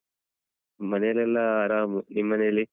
ಮನೇಲೆಲ್ಲ ಆರಾಮು ನಿಮ್ಮನೇಲಿ?